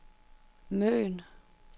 Møn